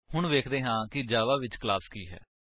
ਹੁਣ ਵੇਖਦੇ ਹਾਂ ਕਿ ਜਾਵਾ ਵਿੱਚ ਕਲਾਸ ਕੀ ਹੈ